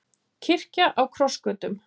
Kirkja á krossgötum